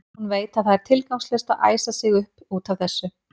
Hún veit að það er tilgangslaust að æsa sig upp út af þessu.